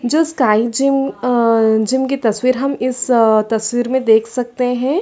जो sky gym अ gym की तस्वीर हम इसस तस्वीर में देख सकते हैं ।